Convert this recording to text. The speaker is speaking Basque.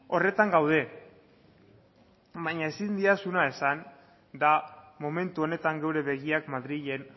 horretan gaude baina ezin didazuna esan da momentu honetan gure begiak madrilen